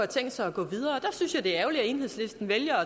tænkt sig at gå videre der synes jeg det er ærgerligt at enhedslisten vælger